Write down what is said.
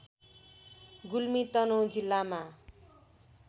गुल्मी तनहुँ जिल्लामा